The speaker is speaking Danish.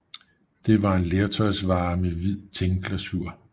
Det var en lertøjsvare med hvid tinglasur